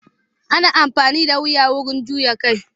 Ana amfani da wuya wajen juya kai.